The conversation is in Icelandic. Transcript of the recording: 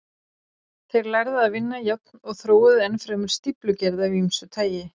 Þeir lærðu að vinna járn og þróuðu enn fremur stíflugerð af ýmsu tagi.